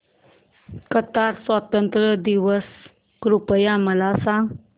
Qatar स्वातंत्र्य दिवस कृपया मला सांगा